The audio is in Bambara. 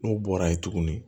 N'o bɔra ye tuguni